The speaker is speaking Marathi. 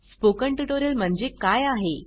स्पोकन ट्युटोरियल म्हणजे काय आहे